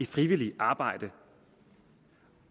frivilligt arbejde